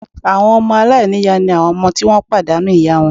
Àwọn ọmọ aláìníyàá ni àwọn ọmọ tí wọ́n ti pàdánù ìyá wọn